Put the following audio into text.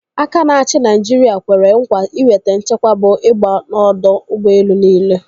Aka na-achi Naijiri kwere nkwa iweta nchekwa bụ ịgba n'ọdọ ụgbọelu niile.